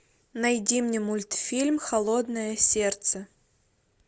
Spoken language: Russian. найди мне мультфильм холодное сердце